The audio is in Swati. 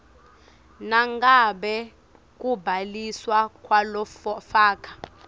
nangabe kubhaliswa kwalofaka